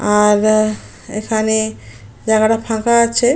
আ দা এখানে জায়গাটা ফাঁকা আছে।